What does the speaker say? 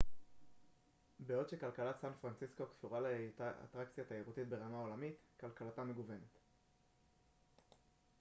בעוד שכלכלת סן פרנסיסקו קשורה להיותה אטרקציה תיירותית ברמה עולמית כלכלתה מגוונת